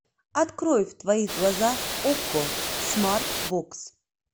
открой в твоих глазах окко смарт бокс